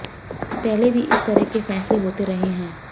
पहले भी इस तरह के फैसले होते रहे हैं